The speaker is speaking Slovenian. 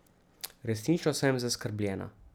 Resnično sem zaskrbljena.